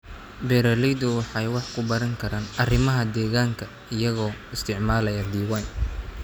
Beeraleydu waxay wax ku baran karaan arrimaha deegaanka iyagoo isticmaalaya diiwaan.